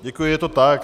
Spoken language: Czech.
Děkuji, je to tak.